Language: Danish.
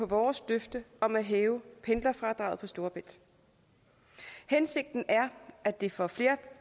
vores løfte om at hæve pendlerfradraget på storebælt hensigten er at det for flere